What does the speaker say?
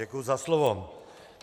Děkuji za slovo.